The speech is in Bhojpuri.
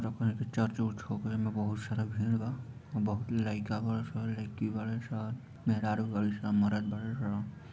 यहाँ पर एक चर्च उरच हउ ओकरे में बहुत सारा भीड़ बा | आ बहुत लइका बाड़न सन लईकी बाड़े सन मेहरारू बाड़े सन मरद बाड़े सन |